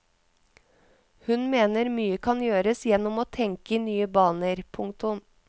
Hun mener mye kan gjøres gjennom å tenke i nye baner. punktum